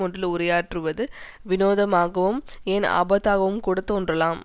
ஒன்றில் உரையாற்றுவது வினோதமாகவும் ஏன் அபத்தமாகவும் கூட தோன்றலாம்